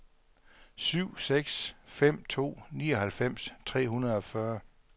syv seks fem to nioghalvfems tre hundrede og fyrre